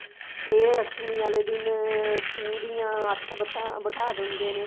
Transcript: ਜੇ ਅਸ਼ਟਮੀ ਆਲੇ ਦਿਨ ਪੂਰੀਆਂ ਅੱਠ ਬੈਠਾ ਬੈਠਾ ਦਿੰਦੇ ਨੇ